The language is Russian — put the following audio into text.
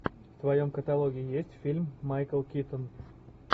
в твоем каталоге есть фильм майкл китон